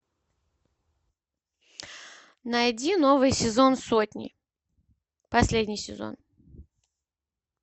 найди новый сезон сотни последний сезон